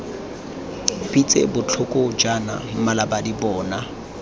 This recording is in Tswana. pitse botlhoko jaana mmalabadi bona